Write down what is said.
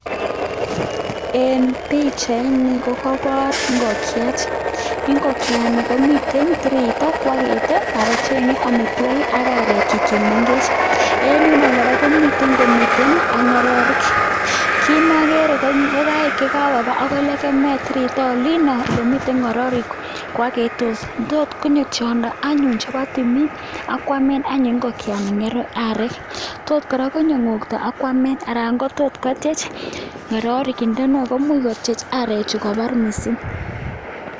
En pichaini kokoboor ingokyet, ingokyaanikomiten tiritaa ko agree. Anan chengee amitwogiik ak aarekchik chemengech En yutok kora komiten komii ak ngorirek. Kit neokere ko ingokaik chakakobaa akoi element tiritaa olin. Olemii ngororek ko oketos ne toot konyoo tiondoo anyun neboo timing ak koamen anyun ingokyanikan aarek. Tot konyoo ngoktoo ak koamen anan kotot kotiech ngororek, ak imuch kotiech arechu kobaar missing